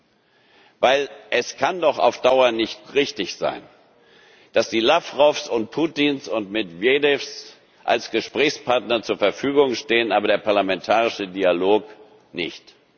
auffällt. Denn es kann doch auf Dauer nicht richtig sein, dass die Lawrows und Putins und Medwedews als Gesprächspartner zur Verfügung stehen, aber der parlamentarische Dialog